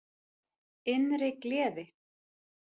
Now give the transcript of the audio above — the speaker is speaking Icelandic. Innri gleði.